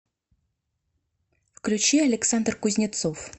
включи александр кузнецов